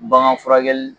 Bagan furakɛli